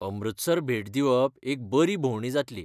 अमृतसर भेट दिवप एक बरी भोंवडी जातली.